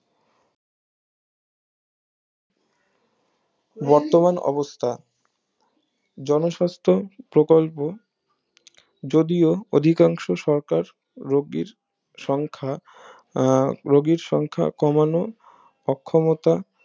বর্তমান অবস্থা জনস্বাস্থ প্রকল্প যদিও অধিকাংশ সরকার রুগীর সংখ্যা আহ রুগীর সংখ্যা কমানো অক্ষমতা